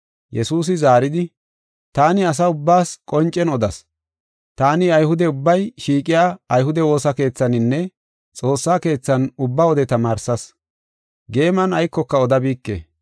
Yesuusi zaaridi, “Taani asa ubbaas qoncen odas. Taani Ayhude ubbay shiiqiya ayhude woosa keethaninne xoossa keethan ubba wode tamaarsas. Geeman aykoka odabike.